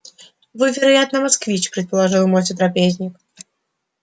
вы вероятно москвич предположил мой сотрапезник